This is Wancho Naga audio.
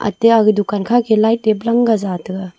atte aga dukan kha ke light te plang ga jataga.